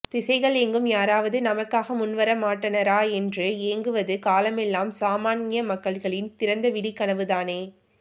திசைகளெங்கும் யாராவது நமக்காக முன்வர மாட்டனரா என்று ஏங்குவது காலமெல்லாம் சாமான்ய மக்களின் திறந்தவிழிக் கனவு தானே